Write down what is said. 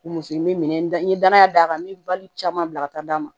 Muso in n bɛ minɛ n ye danaya d'a kan n bɛ bali caman bila ka taa d'a ma